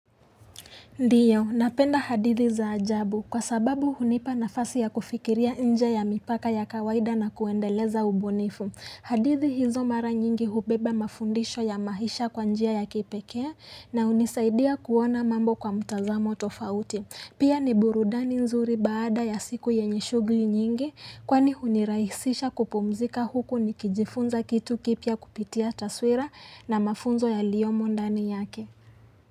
Ndio, napenda hadithi za ajabu kwa sababu hunipa nafasi ya kufikiria nje ya mipaka ya kawaida na kuendeleza ubunifu. Hadithi hizo mara nyingi hubeba mafundisho ya maisha kwa njia ya kipekee na hunisaidia kuona mambo kwa mtazamo tofauti. Pia ni burudani nzuri baada ya siku yenye shughuli nyingi kwani hunirahisisha kupumzika huku nikijifunza kitu kipya kupitia taswira na mafunzo yaliyomo ndani yake.